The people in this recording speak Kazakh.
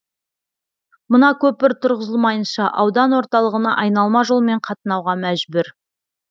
мына көпір тұрғызылмайынша аудан орталығына айналма жолмен қатынауға мәжбүр